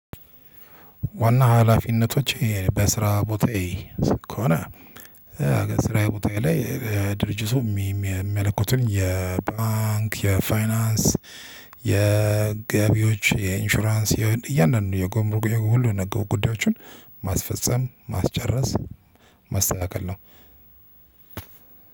ዋና ሀላፊነቶች በስራ ቦታዬ ከሆነ ስራዬ ቦታዬ ላይ ድርጅቱ የሚያለቁትን የባንክ የፋይናንስ የገቢዎች የኢንሹራንስ የያንዳንዱን የጉምሩክ ሁሉ የነክ ጉዳዮችን ማስፈጸም ማስጨረስ ማስተካከል ነው።